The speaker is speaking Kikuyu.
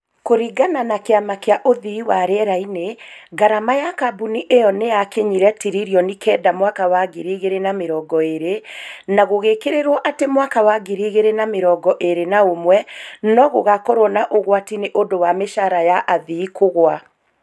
Kũringana na kĩama kĩa uthii wa rĩera-inĩ , ngarama ya kambuni ĩyo nĩ yaakinyĩire tiririoni kenda mwaka wa 2020. Na gũgĩkĩrĩrũo atĩ mwaka wa 2021 no ũgaakorũo na ũgwati nĩ ũndũ wa mĩcara ya athii kũgũa.